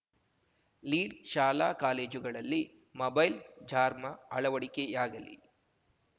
ಲೀಡ್‌ಶಾಲಾ ಕಾಲೇಜುಗಳಲ್ಲಿ ಮೊಬೈಲ್‌ ಜಾರ್ಮಾ ಅಳವಡಿಕೆಯಾಗಲಿ